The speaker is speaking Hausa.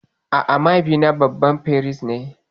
A'a, mahaifina babban firist ne.